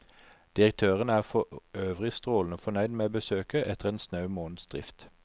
Direktøren er forøvrig strålende fornøyd med besøket etter en snau måneds drift.